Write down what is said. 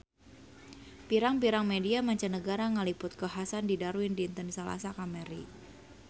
Pirang-pirang media mancanagara ngaliput kakhasan di Darwin dinten Salasa kamari